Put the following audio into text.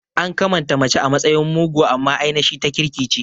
An kamanta mace a matsayin mugo amma ainashi ta kirki ce